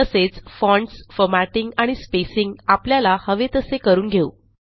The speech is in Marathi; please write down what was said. तसेच फॉन्ट्स फॉर्मॅटिंग आणि स्पेसिंग आपल्याला हवे तसे करून घेऊ